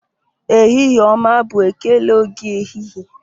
Ehihie ọma bụ ekele oge ehihie